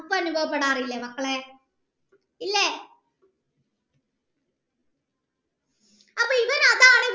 അനുഭവപ്പെടാറില്ലേ മക്കളെ ഇല്ലേ അപ്പൻ ഇവാൻ അതാണ്